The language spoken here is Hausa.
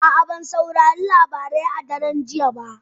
A'a, ban saurari labarai a daren jiya ba